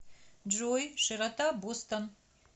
джой широта бостон